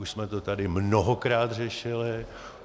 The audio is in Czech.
Už jsme to tady mnohokrát řešili.